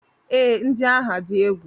Ee, ndị agha dị egwu.